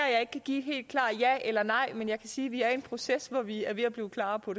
jeg ikke kan give et helt klart ja eller nej men jeg kan sige at vi er i en proces hvor vi er ved at blive klar på